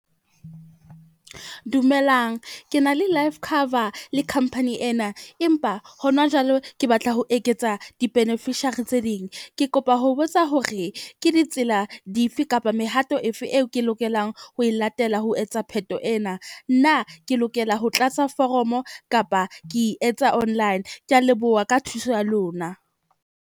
Dumelang, ke na le life cover le company ena. Empa hona jwale ke batla ho eketsa di-beneficiary tse ding. Ke kopa ho botsa hore ke ditsela dife kapa mehato efe eo ke lokelang ho e latela ho etsa pheto ena. Na ke lokela ho tlatsa foromo kapa ke e etsa online? Ke a leboha ka thuso ya lona.